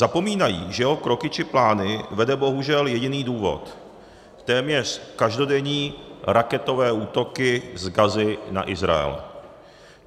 Zapomínají, že jeho kroky či plány vede bohužel jediný důvod: téměř každodenní raketové útoky z Gazy na Izrael.